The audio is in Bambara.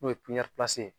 N'o ye ye